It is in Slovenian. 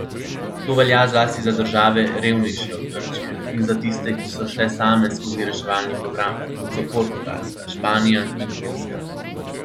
To velja zlasti za države, revnejše od Grčije, in za tiste, ki so šle same skozi reševalni program, kot so Portugalska, Španija in Irska.